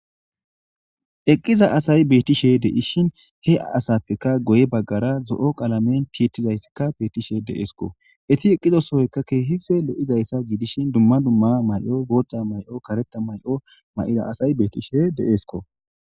eqqiza asayi bettishe de7ishin he asappeka goye baggara zo7o qalamen tiettizayssikka beettishe de7esko eti eqqiza sohoyka keehipe lo7izayssa giidishin dumma dumma may7o bootta may7o kareta may7o ma7ira asayi bettishe de7esko